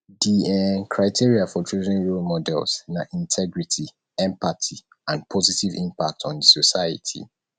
di um criteria for choosing role models na integrity empathy and positive impact on di society